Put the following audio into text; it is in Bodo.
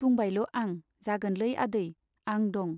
बुंबायल' आं, जागोनलै आदै , आं दं।